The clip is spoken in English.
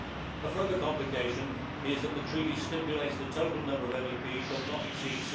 A further complication is that the Treaty stipulates the total number of MEPs shall not exceed